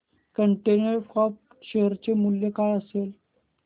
container corp share चे मूल्य काय असेल